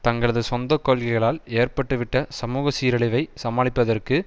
தங்களது சொந்த கொள்கைகளால் ஏற்பட்டுவிட்ட சமூக சீரழிவை சமாளிப்பதற்கு